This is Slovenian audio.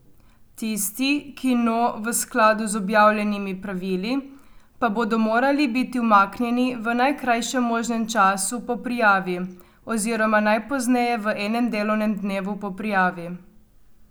Tisti, ki no v skladu z objavljenimi pravili, pa bodo morali biti umaknjeni v najkrajšem možnem času po prijavi, oziroma najpozneje v enem delovnem dnevu po prijavi.